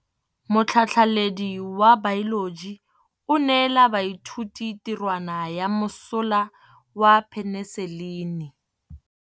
Motlhatlhaledi wa baeloji o neela baithuti tirwana ya mosola wa peniselene.